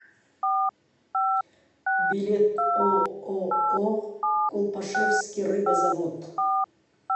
билет ооо колпашевский рыбозавод